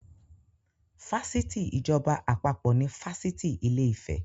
Fásitì ìjọba àpapọ̀ ni Fásitì ìlè-ìfẹ́.